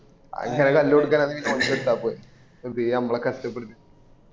അനെ കല്ല് കൊടുക്കാന്ആ ണേല് ഓനിക്ക് എടുത്തൽപോരെ വെറുതെ അമ്മളെ കഷ്ട്ടപെടുത്തി